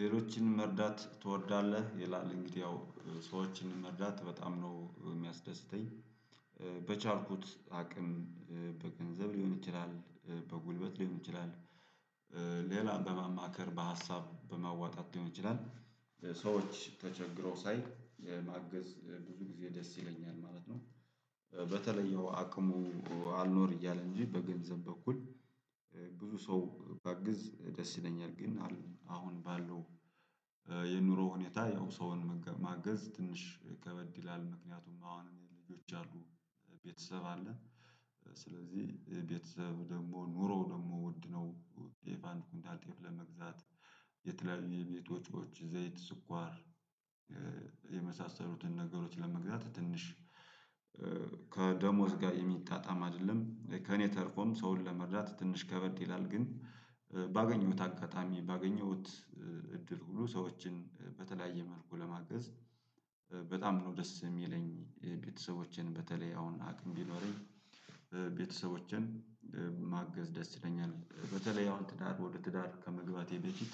ሌሎችን መርዳት ትወዳለህ? ይላል እንግዲህ ያው ሰዎችን መርዳት በጣም ነው የሚያስደስተኝ። በቻልኩት አቅም በገንዘብ ሊሆን ይችላል በጉልበት ሊሆን ይችላል። ሌላም በማማከር በሀሳብ በማዋጣት ሊሆን ይችላል ሰዎች ተቸግረው ሳይ ማገዝ ብዙ ጊዜ ደስ ይለኛል ማለት ነው፤ በተለየው አቅሙ አልኖር እያለ እንጂ በገንዘብ በኩል ብዙ ሰው ባግዝ ደስ ይለኛል። ግን አሁን ባለው የኑሮ ሁኔታ ያው ሰውን ማገዝ ትንሽ ከበድ ይላል። ምክንያቱም አሁን ልጆች አሉ፤ ቤተሰብ አለ ስለዚህ ቤተሰብ ደግሞ ኑሮ ደግሞ ውድ ነው። ጤፍ አንድ ኩንታል ጤፍ ለመግዛት የተለያዩ የቤት ወጪዎች ዘይት ስኳር። የመሳሰሉትን ነገሮች ለመግዛት ትንሽ ከደሞዝ ጋር የሚጣጣም አይደለም። ከእኔ ተርፎም ሰውን ለመርዳት ትንሽ ከበድ ይላል። ግን ባገኘሁት አጋጣሚ ባገኘሁት እድል ሁሉ ሰዎችን በተለያየ መልኩ ለማገዝ በጣም ነው ደስ የሚለኝ። ቤተሰቦቼን በተለይ አሁን አቅም ቢኖረኝ ቤተሰቦቼን ማገዝ ደስ ይለኛል። በተለይ አሁን ትዳር ወደ ትዳር ከመግባቴ በፊት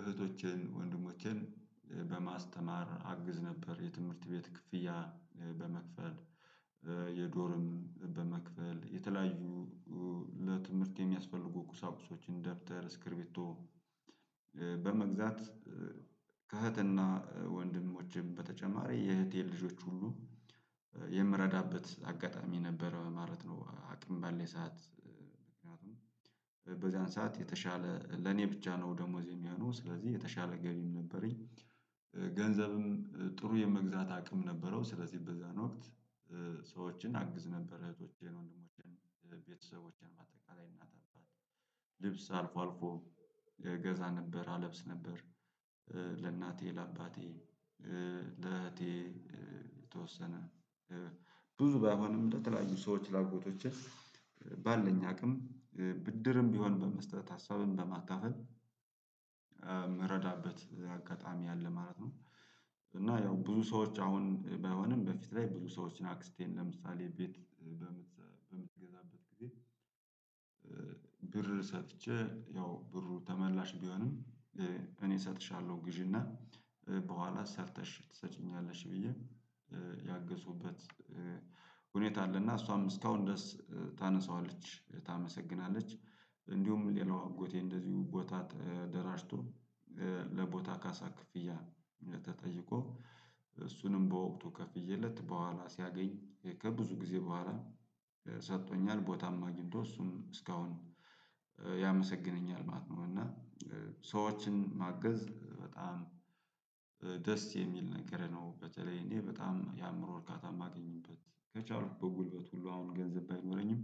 እህቶችን ወንድሞችን በማስተማር አግዝ ነበር። የትምህርት ቤት ክፍያ በመክፈል የዶርም በመክፈል የተለያዩ ለትምህርት የሚያስፈልጉ ቁሳቁሶችን ደብተር ስክሪቢቶ በመግዛት ከእህትና ወንድሞችም በተጨማሪ የእህቴን ልጆች ሁሉ የምረዳበት አጋጣሚ ነበረ ማለት ነው። አቅም ባለኝ ሰዓት ምክንያቱም በዚያን ሰዓት የተሻለ ለኔ ብቻ ነው ደሞዜም የሆኑ ስለዚህ የተሻለ ገቢም ነበረኝ። ገንዘብም ጥሩ የመግዛት አቅም ነበረው ስለዚህ በዛን ወቅት ሰዎችን አግዝ ነበር። እህቶቼን ወንድሞቼን ቤተሰቦቼን በአጠቃላይ እናት አባት ልብስ አልፎ አልፎ ገዛ ነበር አለብስ ነበር፤ ለእናቴ ለአባቴ ለእህቴ የተወሰነ ብዙ ባይሆንም ለተለያዩ ሰዎች ለአጎቶቼ ባለኝ አቅም ብድርም ቢሆን በመስጠት ሀሳብም በማካፈል የምረዳበት አጋጣሚ አለ ማለት ነው። እና ያው ብዙ ሰዎች አሁን ባይሆንም በፊት ላይ ብዙ ሰዎችን አክስቴን ለምሳሌ ቤት በምትገዛበት ጊዜ ብር ሰጥቼ ያው ብሩ ተመላሽ ቢሆንም እኔ እሰጥሻለሁ ግዢና በኋላ ሰርተሽ ትሰጪኛለሽ ብዬ ያገዝሁበት ሁኔታ አለ። እና እሷም እስካሁን ድረስ ታነሳዋለች ታመሰግናለች። እንዲሁም ሌላው አጎቴ እንደዚሁ ቦታ ተደራጅቶ ለቦታ ካሳ ክፍያ ተጠይቆ እሱንም በወቅቱ ከፍዬለት በኋላ ሲያገኝ ከብዙ ጊዜ በኋላ ሰጥቶኛል ቦታም አግኝቶ እሱም እስካሁን ያመሰግነኛል ማለት ነው። እና ሰዎችን ማገዝ በጣም ደስ የሚል ነገር ነው። በተለይ እኔ በጣም የአእምሮ እርካታ የማገኝበት ከቻልኩ በጉልበት ሁሉ አሁን ገንዘብ ባይኖረኝም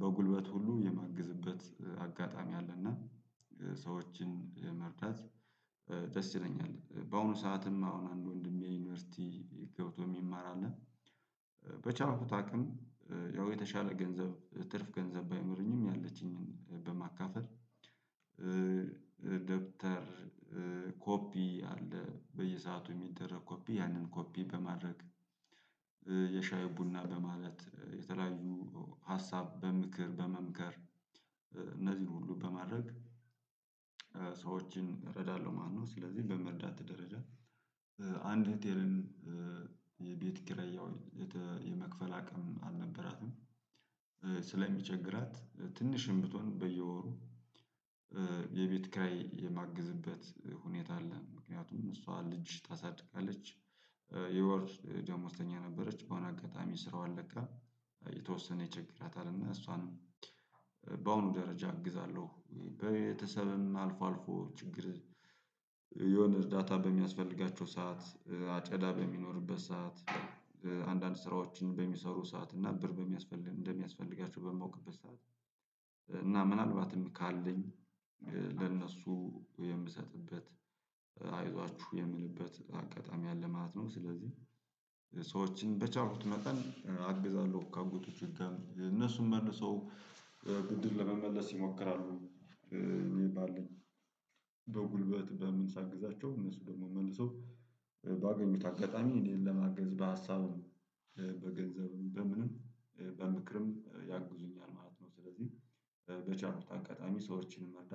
በጉልበት ሁሉ የማግዝበት አጋጣሚ አለና ሰዎችን መርዳት ደስ ይለኛል። በአሁኑ ሰዓትም አሁን አንድ ወንድሜ ዩኒቨርሲቲ ገብቶ የሚማር አለ። በቻልሁት አቅም የተሻለ ገንዘብ ትርፍ ገንዘብ ባይኖረኝም ያለችኝን በማካፈል ደብተር ኮፒ አለ በየሰአቱ የሚደረግ ኮፒ ያንን ኮፒ በማድረግ የሻይ ቡና በማለት የተለያዩ ሀሳብ በምክር በመምከር እነዚህን ሁሉ በማድረግ ሰዎችን እረዳለሁ ማለት ነው። ስለዚህ በመርዳት ደረጃ አንድ እህቴም የቤት ኪራይ ያው የመክፈል አቅም አልነበራትም። ስለሚቸግራት ትንሽም ብትሆን በየወሩ የቤት ክራይ የማግዝበት ሁኔታ አለ ምክንያቱም እሷ ልጅ ታሳድጋለች። የወር ደሞዝተኛ ነበረች በሆነ አጋጣሚ ስራዋን ለቃ የተወሰነ ይቸግራታል። እና እሷንም በአሁኑ ደረጃ እግዛለሁ። በቤተሰብም አልፎ አልፎ ችግር የሆነ እርዳታ በሚያስፈልጋቸው ሰዓት አጨዳ በሚኖርበት ሰዓት አንዳንድ ስራዎችን በሚሰሩ ሰዓት እና ብር በሚያስፈልግ እንደሚያስፈልጊያቸው በማውቅበት ሰዓት እና ምናልባትም ካለኝ ለእነሱ የምሰጥበት አይዟችሁ የምልበት አጋጣሚ ያለ ማለት ነው። ስለዚህ ሰዎችን በቻሉት መጠን አግዛለሁ። ከአጎቱ ጭካኔ እነሱን መልሰው ቡድን ለመመለስ ይሞክራሉ። ይሄ ባለን በጉልበት በምን ሳግዛቸው እነሱ ደግሞ መልሰው ባገኙት አጋጣሚ እኔን ለማገዝ በሀሳብም በገንዘብም በምንም በምክርም ያግዙኛል ማለት ነው። ስለዚህ በቻልሁት አጋጣሚ ሰዎችንም መርዳት